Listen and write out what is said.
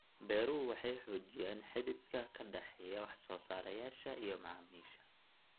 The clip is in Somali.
Beeruhu waxay xoojiyaan xidhiidhka ka dhexeeya wax-soo-saarayaasha iyo macaamiisha.